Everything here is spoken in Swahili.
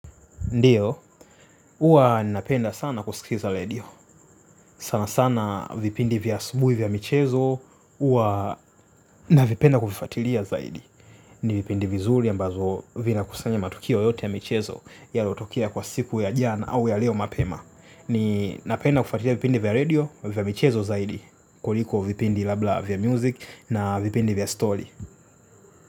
Ndiyo, huwa napenda sana kusikiza redio, sana sana vipindi vya asubuhi vya michezo, huwa navipenda kuvifuatilia zaidi. Ni vipindi vizuri ambazo vinakusanya matukio yote ya michezo yaliyotokea kwa siku ya jana au ya leo mapema. Ninapenda kufuatilia vipindi vya redio vya michezo zaidi kuliko vipindi labda vya music na vipindi vya story.